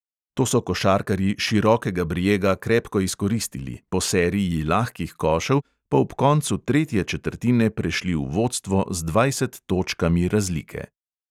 To so košarkarji širokega brijega krepko izkoristili, po seriji lahkih košev pa ob koncu tretje četrtine prešli v vodstvo z dvajset točkami razlike.